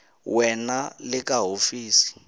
we na le ka hofisi